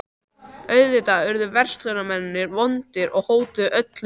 Auðvitað urðu verslunarmennirnir vondir og hótuðu öllu illu.